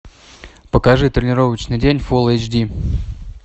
покажи тренировочный день фулл эйч ди